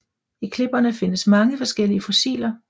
I klipperne findes mange forskellige fossiler